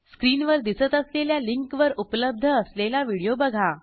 स्क्रीनवर दिसत असलेल्या लिंकवर उपलब्ध असलेला व्हिडिओ बघा